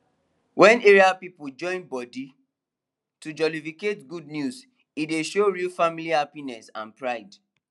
wen area people join body to jollificate good news e dey show real family happiness and pride